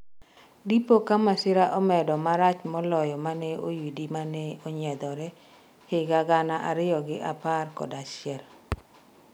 dipo ka masirani omedo marach moloyo mane oyudi mane onyiedhore higa gana ariyo gi apar kod achiel